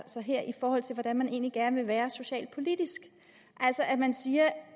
her i forhold til hvordan man egentlig gerne vil være socialpolitisk man siger